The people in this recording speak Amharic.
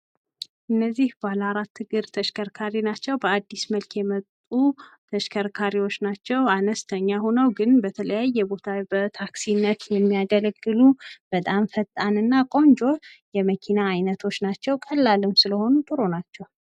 እነዚህ ባለ አራት እግር ተሽከርካሪ ናቸው። በአዲስ መልክ የመጡ መሽከርካሪዎች ናቸው። አነስተኛ ሆነው ግን በተለያየ ቦታ በታክሲነት የሚያደርግሉ በጣም ፈጣንና ቆንጆ የመኪና አይነቶች ናቸው። ቀላልም ስለሆኑ ጥሩ ናቸው።